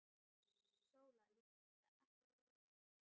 Sóla lét þetta ekki á sig fá.